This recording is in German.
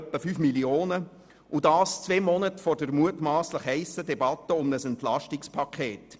Das beschliessen wir ausgerechnet zwei Monate vor der mutmasslich heissen Debatte um ein Entlastungspaket.